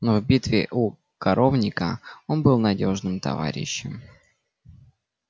но в битве у коровника он был надёжным товарищем